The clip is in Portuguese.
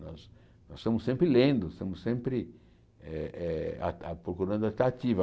Nós estamos sempre lendo, estamos sempre eh eh ah ah procurando a atrativa.